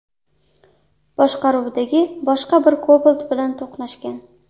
boshqaruvidagi boshqa bir Cobalt bilan to‘qnashgan.